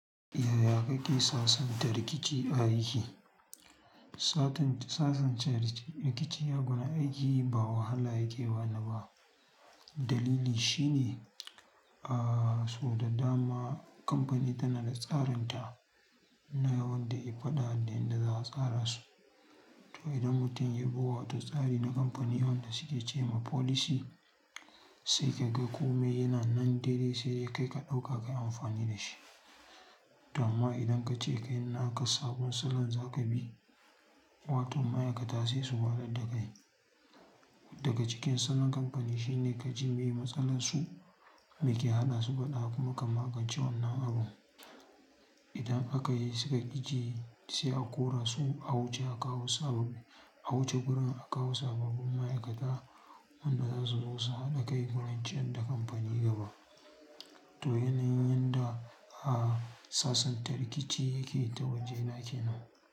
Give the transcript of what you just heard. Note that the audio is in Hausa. Yaya kake sasanta rikici a aiki? Sasanta rikici a gurin aiki ba wahala yake bani ba. Dalili shine, ah, sau da dama kamfani tana da tsarinta na yawan ɗaya faɗa da inda za a tsara su. To idan mutum ya bi wata tsari na kamfani yawan da suke ce ma folis, sai ka ga kome yana nan daidai sai dai kai ka ɗauka ka yi amfani da shi. To amma idan kace kai ina aka sabon salon za ka bi, watan ma'aikata sai su waɗar da kai. Daga cikin salon kamfani shine ka ji meye matsalarsu meke haɗa su faɗa kuma ka magance wannan abu. Idan aka yi suka ƙi ji sai a kora su a wuce a kawo sabon, a wuce birin a kawo sababbin ma'aikata wanda za su zo su haɗa kai gurin can da kamfani gaba. To yanayin yanda, ah, sasanta rikici yake ta waje na kenan.